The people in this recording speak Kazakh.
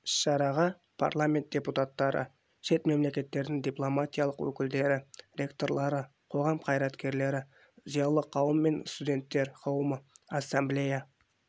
іс-шараға парламент депутаттары шет мемлекеттердің дипломатиялық өкілдіктері ректорлары қоғам қайраткерлері зиялы қауым мен студенттер қауымы ассамблея